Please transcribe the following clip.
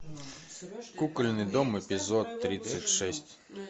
кукольный дом эпизод тридцать шесть